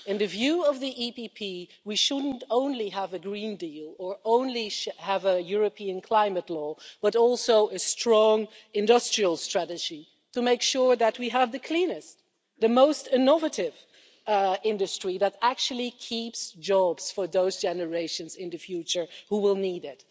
In the view of the EPP, we shouldn't only have a Green Deal or only have a European climate law, but also a strong industrial strategy to make sure that we have the cleanest, the most innovative industry that actually keeps jobs for those generations in the future who will need it.